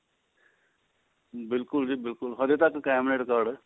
ਬਿਲਕੁਲ ਜੀ ਬਿਲਕੁਲ ਹਜੇ ਕਾਇਮ ਨੇ ਰਿਕਾਰਡ